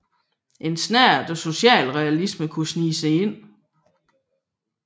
En snert af socialrealisme kunne snige sig ind